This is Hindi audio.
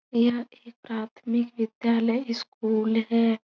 यह एक प्राथमिक विद्यालय स्कूल है।